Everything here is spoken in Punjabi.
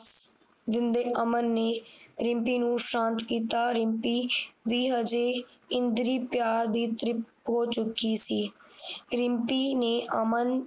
ਦਿੰਦੇ ਅਮਨ ਨੇ ਰਿਮਪੀ ਨੂੰ ਸ਼ਾਂਤ ਕੀਤਾ ਰਿਮਪੀ ਵੀ ਹਜੇ ਇੰਦ੍ਰੀ ਪਿਆਰ ਦੀ ਤ੍ਰਿਪਤ ਹੋ ਚੁੱਕੀ ਸੀ ਰਿਮਪੀ ਨੇ ਅਮਨ